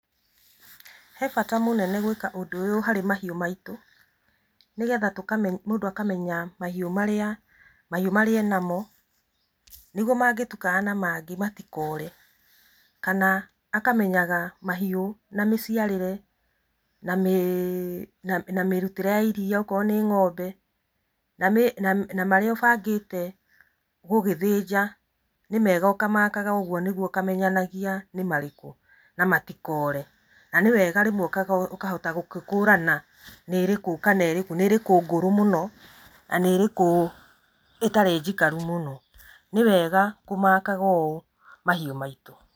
He bata mũnene mũno gwĩka ũndũ ũyũ harĩ mahiũ maitũ, nĩgetha tũkamenya, mũndũ akamenya mahĩũ marĩa e namo, nĩguo mangĩtukana na mangĩ matikore, kana akamenyaga mahiũ na mĩciarĩre na mĩrutĩre ya iria okorwo nĩ ng'ombe, na marĩa ũbangĩte gũgĩthĩnja nĩ mega ũkamakaga ũguo, nĩguo ũkamenyanagia nĩ marĩkũ, na matikore, na nĩ wega rĩmwe ũkahota gũgĩkũrana nĩ rĩkũ kana ĩrĩkũ, nĩ rĩkũ ngũrũ mũno na nĩ rĩkũ ĩtarĩ njikaru mũno, nĩ wega kũmakaga ũũ mahiũ maitũ.